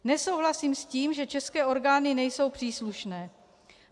Nesouhlasím s tím, že české orgány nejsou příslušné.